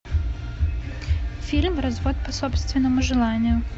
фильм развод по собственному желанию